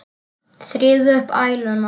Þrífðu upp æluna.